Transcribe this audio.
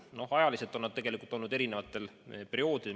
No ajaliselt on need tellitud eri perioodidel.